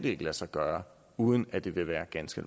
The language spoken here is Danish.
lade sig gøre uden at det vil være ganske